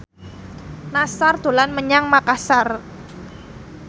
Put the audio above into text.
Nassar dolan menyang Makasar